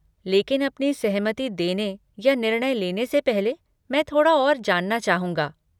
लेकिन अपनी सहमति देने या निर्णय लेने से पहले, मैं थोड़ा और जानना चाहूँगा।